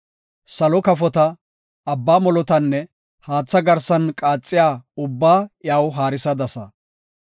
salo kafota, abba molotanne haatha garsan qaaxiya ubbaa iyaw haarisadasa.